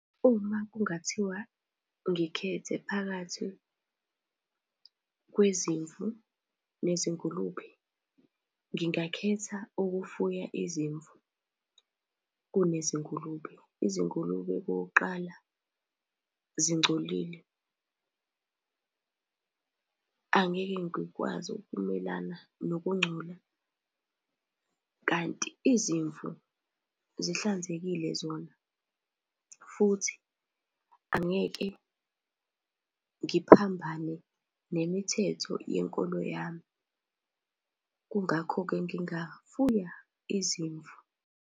Uma kungathiwa ngikhethe phakathi kwezimvu nezingulube, ngingakhetha ukufuya izimvu kunezingulube. Izingulube okokuqala zingcolile angeke ngikwazi ukumelana nokungcola kanti izimvu zihlanzekile zona futhi angeke ngiphambane nemithetho yenkolo yami. Kungakho-ke ngingafuya izimvu.